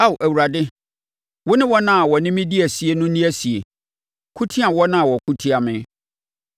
Ao Awurade wo ne wɔn a wɔne me di asie no nni asie; ko tia wɔn a wɔko tia me.